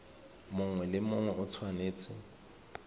mongwe le mongwe o tshwanetse